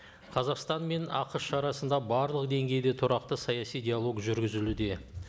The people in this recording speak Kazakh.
қазақстан мен ақш арасында барлық деңгейде тұрақты саяси диалог жүргізілуде